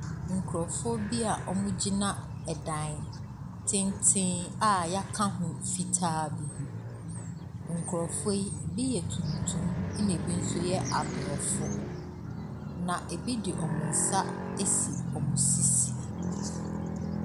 Nkrɔfoɔ bi a ɔmo agyina ɛdan tenten. y'aka ho fitaa bi ho. Nkrɔfoɔ yi bi yɛ tumtum ɛna bi nso yɛ abrofo. Na ebi ɛde wɔmmo nsa asi wɔmmo sisi.